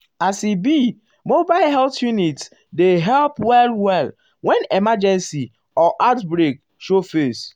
as e be mobile health unit unit dey help well-well when emergency um or outbreak show face.